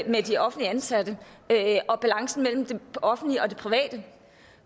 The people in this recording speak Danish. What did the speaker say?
med de offentligt ansatte og balancen mellem det offentlige og det private